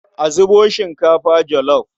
A zubo shinkafa jolof.